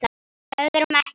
Öðrum ekki.